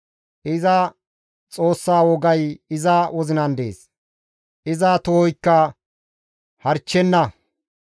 Iza Xoossa wogay iza wozinan dees; iza tohoykka harchchenna.